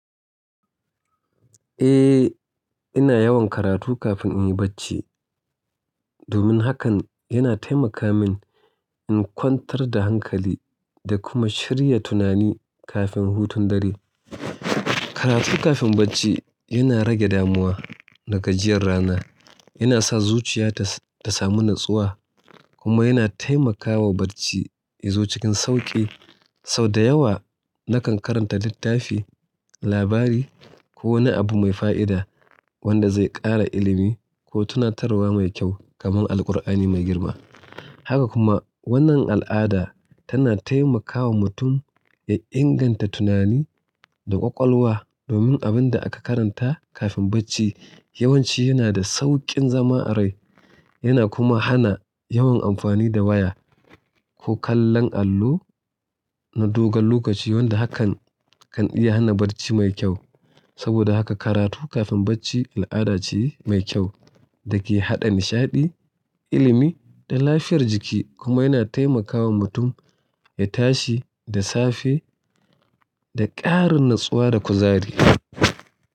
Eh, ina yawan karatu kafin in yi bacci. Domin hakan yana taimaka min in kwantar da hankali da kuma shirya tunani kafin hutun dare. Karatu kafin bacci, yana rage damuwa da gajiyar rana, yana sa zuciya ta samu natsuwa, kuma yana taimakawa bacci yazo cikin sauƙi. Sau da yawa nakan karanta littafi, labari ko wani abu mai fa'ida, wanda zai ƙara ilimi ko tunatarwa mai kyau kamar Alkur'ani mai girma. Haka kuma wannan al'ada tana taimakawa mutum, ya inganta tunani da ƙwaƙwalwa, domin abin da aka karanta kafin bacci yawanci yana da sauƙin zama a rai. Yana kuma hana yawan amfani da waya ko kallon allo na dogon lokaci wanda hakan kan iya hana bacci mai kyau. Saboda haka karatu kafin bacci al'ada ce mai kyau da ke haɗa nishaɗi, ilimi da lafiyar jiki kuma yana taimakawa mutum ya tashi da safe da ƙarin natsuwa da kuzari.